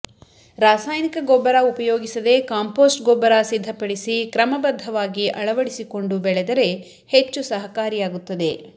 ರಾಸಾಯನಿಕ ಗೊಬ್ಬರ ಉಪಯೋಗಿಸದೇ ಕಾಂಪೋಸ್ಟ್ ಗೊಬ್ಬರ ಸಿದ್ಧ ಪಡಿಸಿ ಕ್ರಮಬದ್ಧವಾಗಿ ಅಳವಡಿಸಿಕೊಂಡು ಬೆಳೆದರೆ ಹೆಚ್ಚು ಸಹಕಾರಿಯಾಗುತ್ತದೆ